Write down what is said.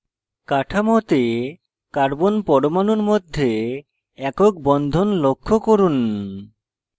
কাঠামোতে carbon পরমাণুর মধ্যে একক bond লক্ষ্য করুন